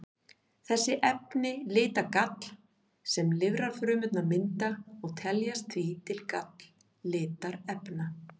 Þessi efni lita gall sem lifrarfrumurnar mynda og teljast því til galllitarefna.